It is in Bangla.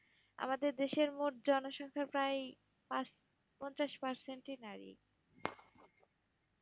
আমাদের দেশের মোট জনসংখ্যার প্রাই পাঁচ, পাঞ্চাশ percent -ই নারী।